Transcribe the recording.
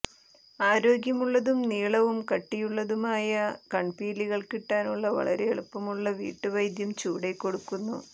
ആരോഗ്യമുള്ളതും നീളവും കട്ടിയുമുള്ളതുമായ കൺപീലികൾ കിട്ടാനുള്ള വളരെ എളുപ്പമുള്ള വീട്ട് വൈദ്യം ചുവടെ കൊടുക്കുന്നു